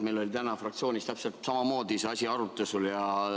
Meil oli täna fraktsioonis täpselt samamoodi see asi arutusel.